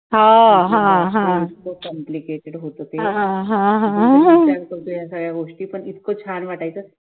complicated होतं ते पण इतकं छान वाटायचं